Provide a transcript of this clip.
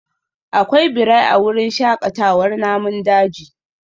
Akwai birai a wurin shakatawar namun daji?